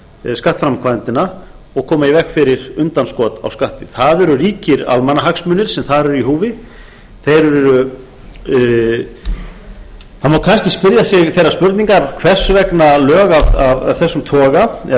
styrkja skattframkvæmdina og koma í veg fyrir undanskot á skatti það eru ríkir almannahagsmunir sem þar eru í húfi það má kannski spyrja sig þeirra spurningar hvers vegna lög af þessum toga eða